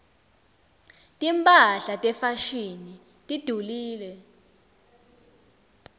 timphahla tefashini tidulile